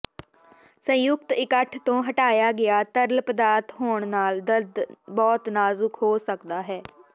ਸੰਯੁਕਤ ਇਕੱਠ ਤੋਂ ਹਟਾਇਆ ਗਿਆ ਤਰਲ ਪਦਾਰਥ ਹੋਣ ਨਾਲ ਦਰਦ ਬਹੁਤ ਨਾਜ਼ੁਕ ਹੋ ਸਕਦਾ ਹੈ